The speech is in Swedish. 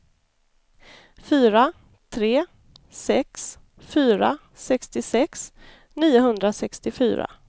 fyra tre sex fyra sextiosex niohundrasextiofyra